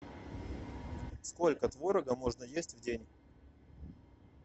сколько творога можно есть в день